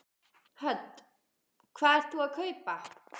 Hödd: Hvað ert þú að kaupa?